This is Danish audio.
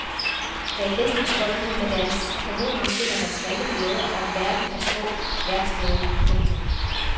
Bag fæstningsvoldene med deres kanoner finder man smalle gader og en verden af små værksteder. punktum